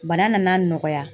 Bana nana nɔgɔya.